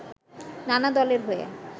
নানা দলের হয়ে